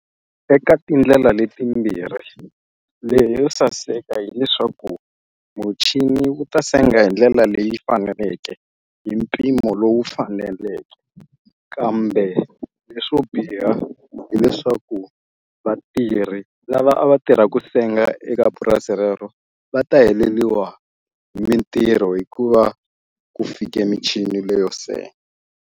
Eka tindlela leti timbirhi ndlela yo saseka hileswaku muchini wu ta senga hi ndlela leyi faneleke hi mpimo lowu faneleke kambe leswo biha hileswaku vatirhi lava a va tirhaka senga eka purasi rero va ta heleliwa hi mintirho hikuva ku fike michini leyo senga.